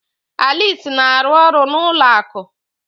Alice na-arụ ọrụ n'ụlọ akụ.